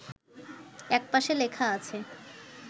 একপাশে লেখা আছে